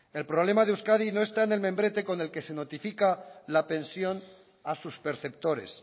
el problema de euskadi no está en el membrete con el que se notifica la pensión a sus perceptores